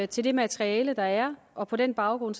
til det materiale der er og på den baggrund